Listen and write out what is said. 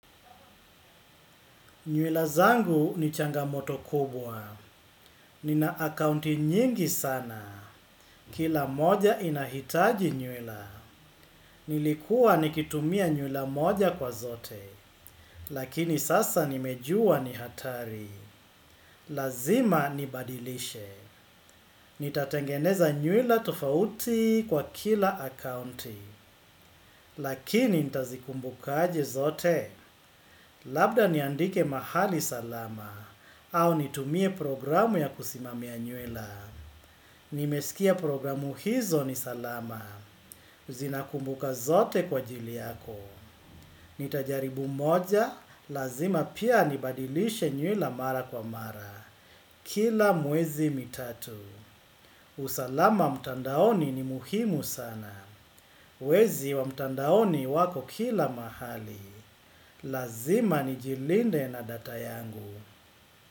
Nywila zangu ni changamoto kubwa. Ni na akaunti nyingi sana. Kila moja inahitaji nywila. Nilikuwa nikitumia nywila moja kwa zote. Lakini sasa nimejua ni hatari. Lazima nibadilishe. Nitatengeneza nywila tofauti kwa kila akaunti. Lakini nitazikumbuka aje zote. Labda niandike mahali salama au nitumie programu ya kusimamia nywela. Nimesikia programu hizo ni salama. Zinakumbuka zote kwa ajili yako. Nitajaribu moja, lazima pia nibadilishe nyuela mara kwa mara. Kila mwezi mitatu. Usalama mtandaoni ni muhimu sana. Wezi wa mtandaoni wako kila mahali. Lazima ni jilinde na data yangu.